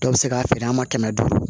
Dɔw bɛ se k'a feere an ma kɛmɛ duuru